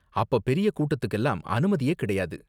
அப்ப பெரிய கூட்டத்துக்குலாம் அனுமதியே கிடையாது.